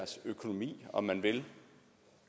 om man vil